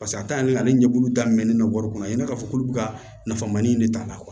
Paseke a taalan ye ale ɲɛkulu daminɛlen don wari kɔnɔ ayi ne k'a fɔ k'olu ka nafama ni ne de ta la